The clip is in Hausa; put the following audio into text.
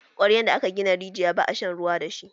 Kwaryan da aka gina rijiya, ba a shan ruwa da shi.